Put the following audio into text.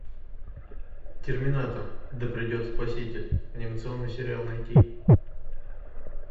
терминатор да придет спаситель анимационный сериал найти